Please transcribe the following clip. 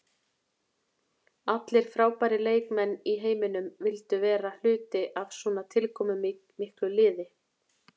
Allir frábærir leikmenn í heiminum vildu vera hluti af svona tilkomumiklu liði.